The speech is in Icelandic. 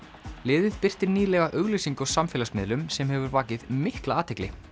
liðið birti nýlega auglýsingu á samfélagsmiðlum sem hefur vakið mikla athygli